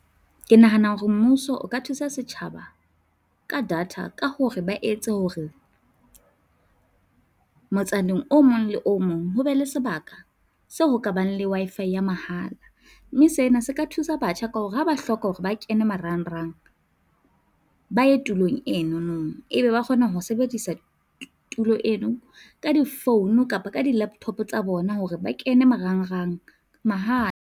Ke nahana hore mmuso o ka thusa setjhaba ka data ka hore ba etse hore motsaneng o mong le o mong ho be le sebaka seo ho ka bang le Wi-Fi ya mahala mme sena se ka thusa batjha ka hore ha ba hloka hore ba kene marangrang ba ye tulong eno, e be ba kgona ho sebedisa tulo eno ka di-phone kapa ka di-laptop tsa bona hore ba kene marangrang mahala.